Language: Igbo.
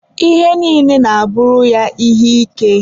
Ihe niile na-abụrụ ya ihe ike.